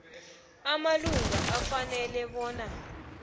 amalunga afanele bona